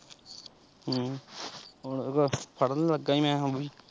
ਹਮ ਹੋਰ ਫੜਨ ਲੱਗਾ ਮੈਂ ਹੁਣ।